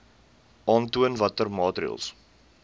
aantoon watter maatreëls